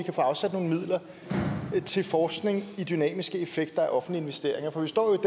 afsat nogle midler til forskning i dynamiske effekter af offentlige investeringer for vi står jo